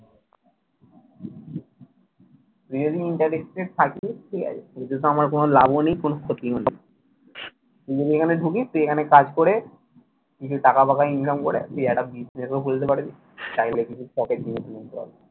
তুই যদি interested থাকিস এতেতো আমার কোন লাভও নেই আমার কোন ক্ষতিও নেই। তুই যদি এখানে ঢুকিস তুই এখানে কাজ করে কিছু টাকা ফাঁকা income করে তুই একটা business ও খুলতে পারিস চাইলে কিছু পকেট